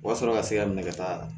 O wa sɔrɔ ka se ka minɛ ka taa